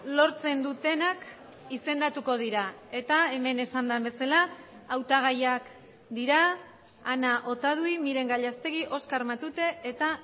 lortzen dutenak izendatuko dira eta hemen esan den bezala hautagaiak dira ana otadui miren gallastegui oskar matute eta